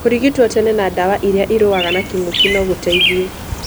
Kũrigito tene na ndawa iria irũaga na kĩngũkĩ no gũteithie.